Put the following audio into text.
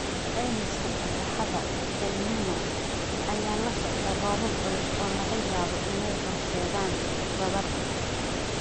Caymiska fatahaadda El Niño ayaa la socda roobab culus oo laga yaabo inay horseedaan daadad.